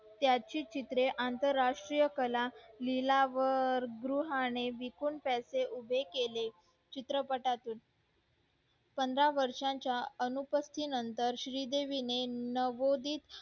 त्याची चित्रे अंतर राष्ट्रीय कला लीला व गृहाने विकून त्याचे उभे केले चित्रपटातून पंधरा वर्षा च्या नंतर श्री देवी ने नवोदीद